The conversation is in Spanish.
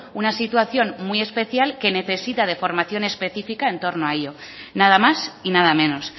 una situación muy especial que necesita de formación específica en torno a ello nada más y nada menos